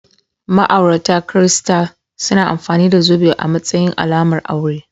Ma'aurata kirista suna amfani da zobe a matsayin alamar aure.